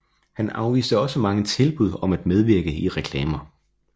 Han afviste også mange tilbud om at medvirke i reklamer